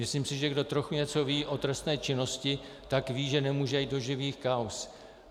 Myslím si, že kdo trochu něco ví o trestné činnosti, tak ví, že nemůže jít do živých kauz.